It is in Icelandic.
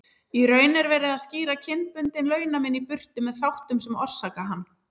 Í raun er verið að skýra kynbundinn launamun í burtu með þáttum sem orsaka hann.